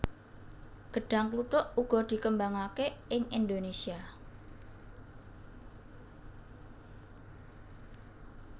Gêdhang kluthuk uga dikembangaké ing Indonésia